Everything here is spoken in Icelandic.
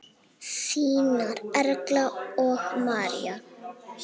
Þínar Erla og María.